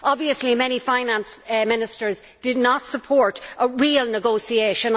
Obviously, many finance ministers did not support real negotiation.